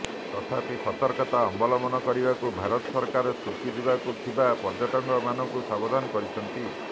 ତଥାପି ସତର୍କତା ଅବଲମ୍ବନ କରିବାକୁ ଭାରତ ସରକାର ତୁର୍କୀ ଯିବାକୁ ଥିବା ପର୍ଯ୍ୟଟକମାନଙ୍କୁ ସାବଧାନ କରିଛନ୍ତି